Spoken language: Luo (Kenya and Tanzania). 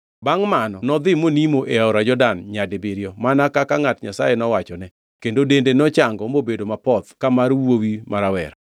Bangʼ mano nodhi monimo e aora Jordan nyadibiriyo mana kaka ngʼat Nyasaye nowachone kendo dende nochango mobedo mapoth ka mar wuowi ma rawera.